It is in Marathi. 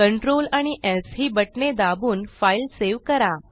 कंट्रोल आणि स् ही बटणे दाबून फाईल सेव्ह करा